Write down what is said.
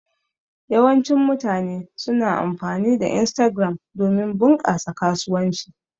Yawancin mutane suna amfani da Instagram domin bunƙasa kasuwanci.